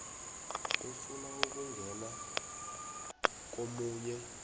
efuna ukungena komunye